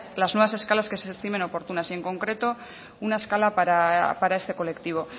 las nuevas escalas que se estimen oportunas y en concreto una escala para este colectivo